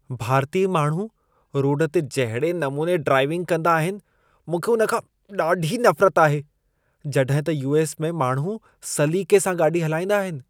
भारतीय माण्हू रोड ते जहिड़े नमूने ड्राइविंग कंदा आहिनि, मूंखे उन खां ॾाढी नफ़रत आहे। जॾहिं त यू.एस. में माण्हू सलीक़े सां गाॾी हलाईंदा आहिनि।